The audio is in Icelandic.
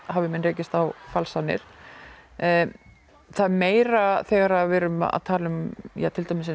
hafi menn rekist á falsanir það er meira þegar við erum að tala um til dæmis